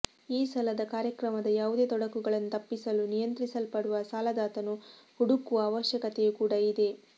ಈ ಸಾಲದ ಕಾರ್ಯಕ್ರಮದ ಯಾವುದೇ ತೊಡಕುಗಳನ್ನು ತಪ್ಪಿಸಲು ನಿಯಂತ್ರಿಸಲ್ಪಡುವ ಸಾಲದಾತನು ಹುಡುಕುವ ಅವಶ್ಯಕತೆಯೂ ಕೂಡಾ ಇದೆ